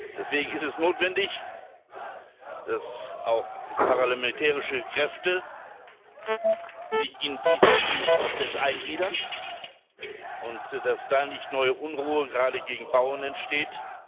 Deswegen ist es notwendig, dass sich auch paramilitärische Kräfte in diesen Friedensprozess eingliedern und dass da nicht neue Unruhen gerade gegen Bauern entstehen.